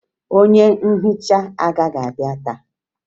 Onye nhicha agaghị abịa taa